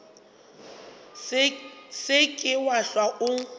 se ke wa hlwa o